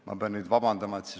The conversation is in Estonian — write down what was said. Ma pean nüüd vabandust paluma.